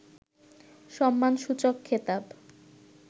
সম্মানসূচক খেতাব